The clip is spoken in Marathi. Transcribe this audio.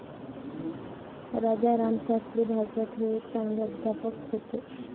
राजारामशास्त्री भागवत हे एक चांगले अध्यापक होते.